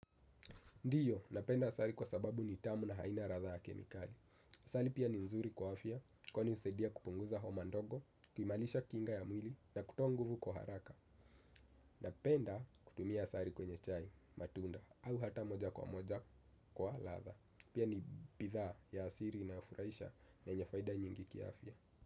Ndiyo, napenda asali kwa sababu ni tamu na haina ladha ya kemikali. Asali pia ni nzuri kwa afya, kwani husaidia kupunguza homa ndogo, kuimarisha kinga ya mwili na kutoa nguvu kwa haraka. Napenda kutumia asali kwenye chai, matunda, au hata moja kwa moja kwa ladha. Pia ni bidhaa ya asiri inayofuraisha na yenye faida nyingi ki afya.